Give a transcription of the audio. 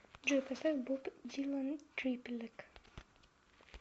джой поставь боб дилан трипликейт